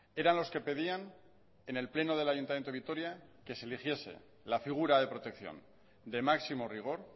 eran los que pedían en el pleno del ayuntamiento de vitoria que se eligiese la figura de protección de máximo rigor